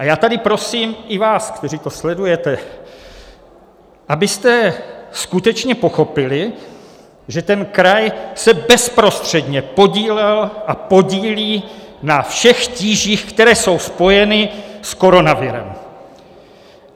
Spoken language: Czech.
A já tady prosím i vás, kteří to sledujete, abyste skutečně pochopili, že ten kraj se bezprostředně podílel a podílí na všech tížích, které jsou spojeny s koronavirem.